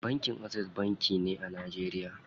Bankin Access banki ne a Najeriya.